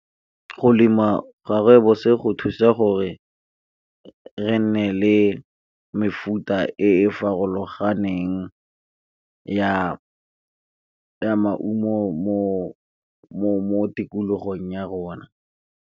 Go lemiwa ga rooibos go thusa gore re nne le mefuta e farologaneng ya maungo mo tikologong ya rona.